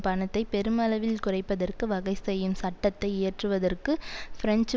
பணத்தை பெருமளவில் குறைப்பதற்கு வகை செய்யும் சட்டத்தை இயற்றுவதற்கு பிரெஞ்சு